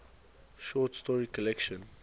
short story collection